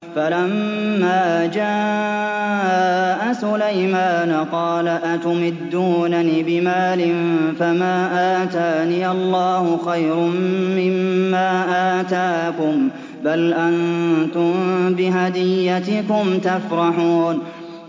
فَلَمَّا جَاءَ سُلَيْمَانَ قَالَ أَتُمِدُّونَنِ بِمَالٍ فَمَا آتَانِيَ اللَّهُ خَيْرٌ مِّمَّا آتَاكُم بَلْ أَنتُم بِهَدِيَّتِكُمْ تَفْرَحُونَ